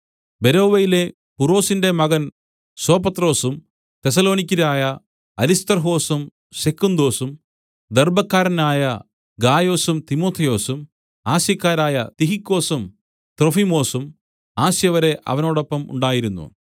ബെരോവയിലെ പുറൊസിന്റെ മകൻ സോപത്രൊസും തെസ്സലോനിക്യരായ അരിസ്തർഹൊസും സെക്കുന്തൊസും ദെർബ്ബക്കാരനായ ഗായൊസും തിമൊഥെയൊസും ആസ്യക്കാരായ തിഹിക്കൊസും ത്രൊഫിമൊസും ആസ്യവരെ അവനോടൊപ്പം ഉണ്ടായിരുന്നു